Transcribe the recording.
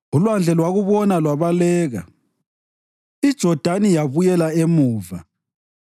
Ulwandle lwakubona lwabaleka, iJodani yabuyela emuva.